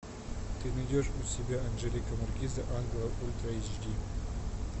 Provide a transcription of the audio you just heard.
ты найдешь у себя анжелика маркиза ангелов ультра эйч ди